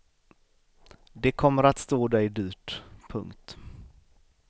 Det kommer att stå dig dyrt. punkt